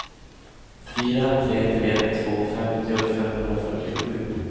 fyra tre tre två femtio femhundrafyrtiosju